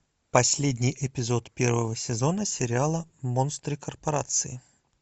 последний эпизод первого сезона сериала монстры корпорации